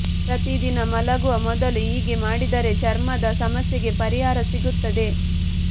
ಪ್ರತಿ ದಿನ ಮಲಗುವ ಮೊದಲು ಹೀಗೆ ಮಾಡಿದರೆ ಚರ್ಮದ ಸಮಸ್ಯೆಗೆ ಪರಿಹಾರ ಸಿಗುತ್ತದೆ